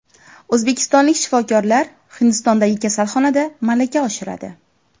O‘zbekistonlik shifokorlar Hindistondagi kasalxonada malaka oshiradi.